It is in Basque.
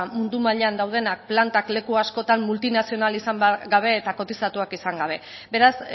mundu mailan daudenak planta leku askotan multinazional izan gabe eta kotizatuak izan gabe beraz